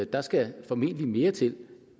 der skal formentlig mere til